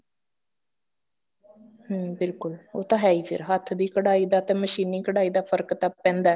ਹਮ ਬਿਲਕੁਲ ਉਹ ਤਾਂ ਹੈ ਈ ਫੇਰ ਹੱਥ ਦੀ ਕਢਾਈ ਦਾ ਤੇ ਮਸ਼ੀਨੀ ਕਢਾਈ ਦਾ ਫਰਕ ਤਾਂ ਪੈਂਦਾ